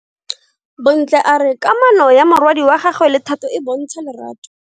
Bontle a re kamano ya morwadi wa gagwe le Thato e bontsha lerato.